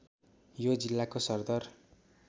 यो जिल्लाको सरदर